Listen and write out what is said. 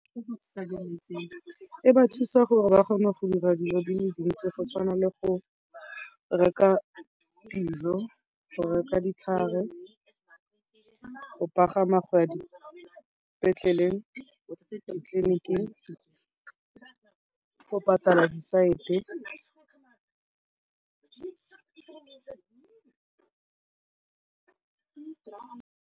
E ba thusa gore ba kgone go dira dilo di le di ntsi go tshwana le go reka dijo, go reka ditlhare, go pagama go ya ka dipetleleng ditleliniking, go patela disosaete.